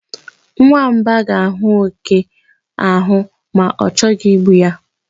Nwamba ga-ahụ oke ahụ ma o chọghị igbu ya.